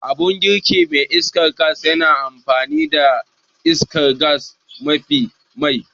Abun girki mai iskar gas yana amfani da iskar gas a matsayin mai